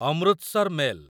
Amritsar mail